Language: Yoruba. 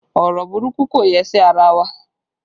Ọrọ burúkú kò yẹ sí ara wa